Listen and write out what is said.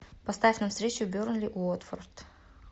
поставь нам встречу бернли уотфорд